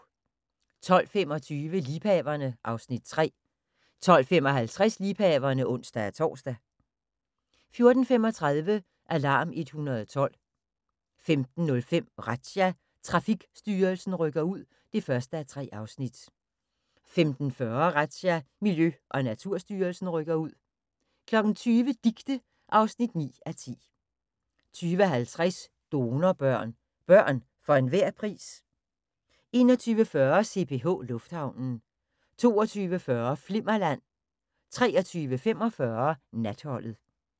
12:25: Liebhaverne (Afs. 3) 12:55: Liebhaverne (ons-tor) 14:35: Alarm 112 15:05: Razzia – Trafikstyrelsen rykker ud (1:3) 15:40: Razzia – Miljø- og Naturstyrelsen rykker ud 20:00: Dicte (9:10) 20:50: Donorbørn – børn for enhver pris? 21:40: CPH Lufthavnen 22:40: Flimmerland 23:45: Natholdet